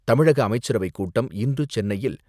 தமிழக அமைச்சரவைக் கூட்டம் இன்று சென்னையில்